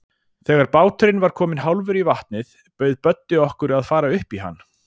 Þegar báturinn var kominn hálfur í vatnið, bauð Böddi okkur að fara upp í hann.